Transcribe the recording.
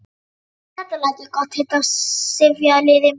Þetta læt ég gott heita af sifjaliði mínu.